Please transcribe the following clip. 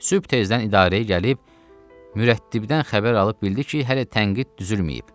Sübh tezdən idarəyə gəlib, mürəttibdən xəbər alıb bildi ki, hələ tənqid düzülməyib.